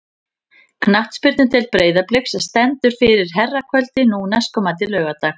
Knattspyrnudeild Breiðabliks stendur fyrir herrakvöldi nú næstkomandi laugardag.